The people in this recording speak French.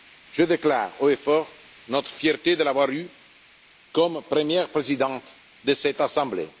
entrepris. Je déclare haut et fort notre fierté de l'avoir eue comme première Présidente de cette